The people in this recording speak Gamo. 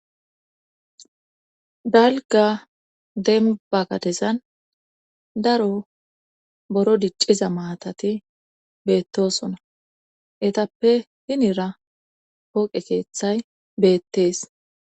dalga denbagadezan daro boro dicciza maatati beettosona etappe hinira pooqe keeththay beettees